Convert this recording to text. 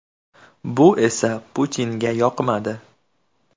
Bu esa Putinga yoqmadi.